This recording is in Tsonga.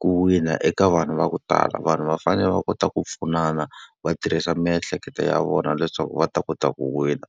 ku wina eka vanhu va ku tala. Vanhu va fanele va kota ku pfunana, va tirhisa miehleketo ya vona leswaku va ta kota ku wina.